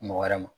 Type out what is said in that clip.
Mɔgɔ wɛrɛ ma